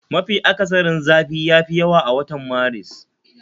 Mafi akasari zafi yafi yawa a watan Maris